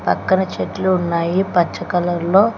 పక్కన చెట్లు ఉన్నాయి పచ్చ కలర్ లో.